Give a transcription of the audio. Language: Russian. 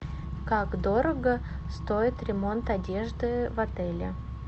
как дорого стоит ремонт одежды в отеле